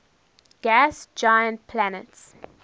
gas giant planets